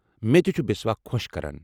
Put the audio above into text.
میتہِ چھُ بسوا خۄش کران۔